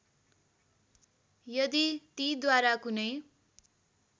यदि तीद्वारा कुनै